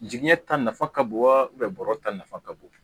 Jigiɲɛ ta nafa ka bon wa bɔrɔ ta nafa ka bon